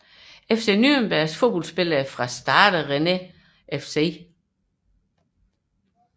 FC Nürnberg Fodboldspillere fra Stade Rennais FC